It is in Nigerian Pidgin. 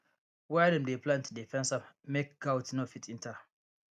where dem dey plant dey fence am make gout no fit enter